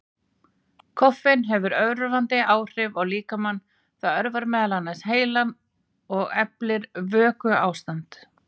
Koffein hefur örvandi áhrif á líkamann, það örvar meðal annars heilann og eflir vökuástand.